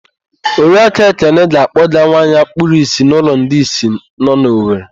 Oriaku Ekenna ga-akpọga nwa ya kpuru ìsì n'ụlọ ndị ìsì nọ na Owere.